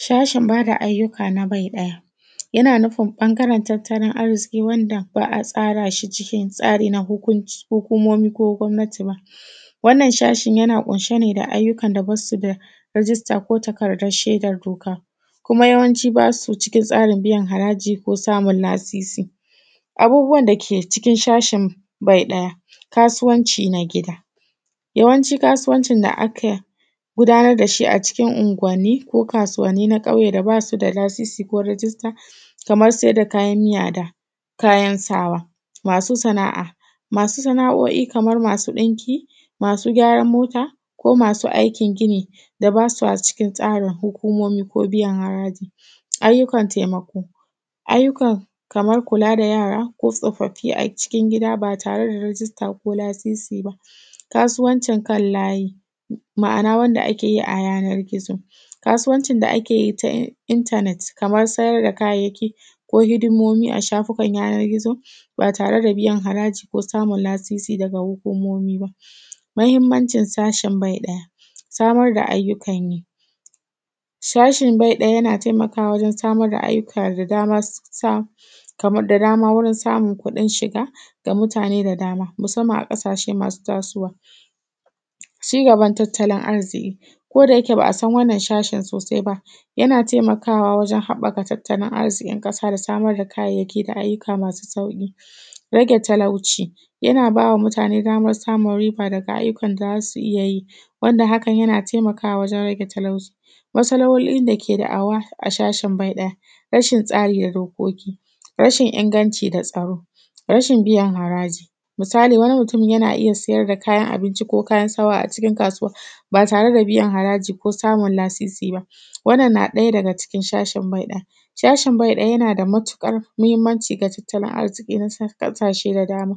Shashin bada ayyuka na bai ɗaya, yana nufin ɓangaren tattalin arziki wanda ba a tsarashi cikin tsari na hukunc, hukumomi, ko gomnati ba. Wannan shashin yana ƙunshe ne da ayyukan da basu da rijista ko takardar shedar doka, kuma yawanci basu cikin tsarin biyan haraji ko samun lasisi. Abubuwan dake cikin shashin bai daya. Kasuwanci na gida: yawanci kasuwancin da aka gudanar dashi a cikin unguwani ko kasuwani na ƙauye da basu da lasisi ko rijista, kamar saida kayan miya da kayan sawa. Masu sana’a: masu sana’o’i kamar masu ɗinki, masu gyaran mota, ko masu aikin gini da basu cikin tsarin hukomomi ko biyan haraji. Ayyukan taimako: ayyukan, kaman kula da yara, ko tsoffafi a cikin gida ba tare da rijista ko lasisi ba. Kasuwancin kan layi: ma’ana wadda ake yi a yanar gizo, kasuwancin da ake yi ta intanet, kamar sayar da kayayyaki, ko hidomomi a shafukan yanar gizo ba tare da biyan haraji ko samun lasisi daga hukomomi ba. Muhimmanci sashin bai ɗaya: Samar da ayyukan yi, shashin bai ɗaya yana taimakama wajen samar da ayyuka da dama, ta, kamar da dama wajen samun kuɗin shiga ga mutane da dama, musamman a ƙasashe masu tasowa. Ci gaban tattalin arziki: Koda yake ba’a san wannan shashin sosai ba, yana taimakawa wajen haɓaka tattalin arzikin ƙasa da samar da kayayyaki ga ayyuka masu sauƙi. Rage talauci: yana bawa mutane damar samun riba daga ayyukan da zasu iya, wanda hakan yana taimakawa wajen rage talauci. Matsalolin dake da da’awa a shashin bai ɗaya: rashin tsari da dokoki, rashin inganci da tsaro, rashin biyan haraji. Misali wani mutumin yana iya sayar da kayan abinci ko kayan sawa ba tare da biyan haraji ko samun lasisi ba. Wannan na ɗaya daga cikin shashin bai ɗaya. Shashin bai daya, yana da matuƙar muhimmanci ga tattalin arziki na ƙasashe da dama,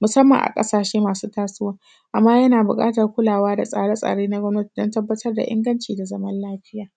musamman a ƙasashe masu tasowa, amma yana buƙatan kulawa da tsare-tsare na gomnati don tabbatar da ingancin da zaman lafiya.